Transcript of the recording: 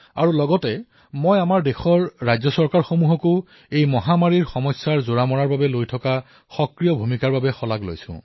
আৰু মই আমাৰ দেশৰ ৰাজ্য চৰকাৰকো এই কথাৰ বাবে প্ৰশংসা কৰিম যে তেওঁলোকে এই মহামাৰীৰ বিৰুদ্ধে যুঁজাত সক্ৰিয় ভূমিকা পালন কৰি আছে